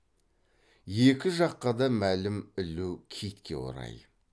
екі жаққа да мәлім ілу китке орай